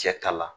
Cɛ ta la